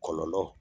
Kɔlɔlɔ